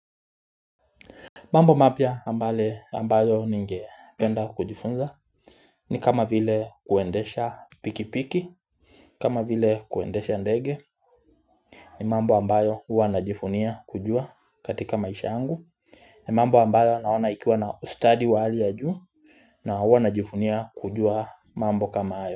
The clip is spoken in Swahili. Mambo mapya ambayo ningependa kujifunza ni kama vile kuendesha pikipiki kama vile kuendesha ndege ni mambo ambayo huwa najivunia kujua katika maisha angu ni mambo ambayo naona ikiwa na ustadi wa hali ya juu na huwa najivunia kujua mambo kama hayo.